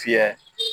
Fiyɛ